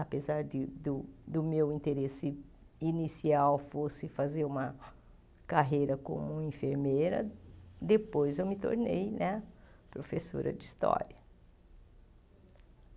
apesar de do meu interesse inicial fosse fazer uma carreira como enfermeira, depois eu me tornei né professora de história.